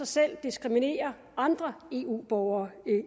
selv diskriminere andre eu borgere